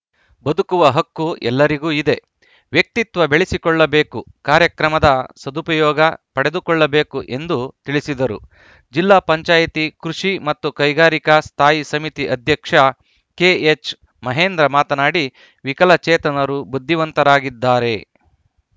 ಬದುಕುವ ಹಕ್ಕು ಎಲ್ಲರಿಗೂ ಇದೆ ವ್ಯಕ್ತಿತ್ವ ಬೆಳೆಸಿಕೊಳ್ಳಬೇಕು ಕಾರ್ಯಕ್ರಮದ ಸದುಪಯೋಗ ಪಡೆದುಕೊಳ್ಳಬೇಕು ಎಂದು ತಿಳಿಸಿದರು ಜಿಲ್ಲಾ ಪಂಚಾಯಿತಿ ಕೃಷಿ ಮತ್ತು ಕೈಗಾರಿಕಾ ಸ್ಥಾಯಿ ಸಮಿತಿ ಅಧ್ಯಕ್ಷ ಕೆಎಚ್‌ ಮಹೇಂದ್ರ ಮಾತನಾಡಿ ವಿಕಲಚೇತನರು ಬುದ್ಧಿವಂತರಾಗಿದ್ದಾರೆ